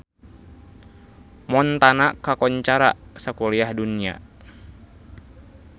Montana kakoncara sakuliah dunya